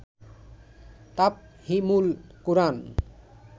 Tafhimul Quran